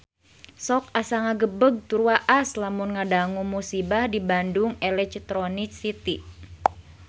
Sok asa ngagebeg tur waas lamun ngadangu musibah di Bandung Electronic City